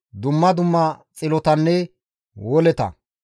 dumma dumma xilotanne woleta,